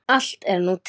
Allt er nú til.